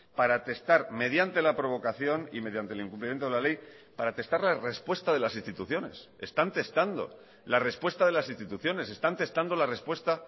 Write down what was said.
para testar mediante la provocación y mediante el incumplimiento de la ley para testar la respuesta de las instituciones están testando la respuesta de las instituciones están testando la respuesta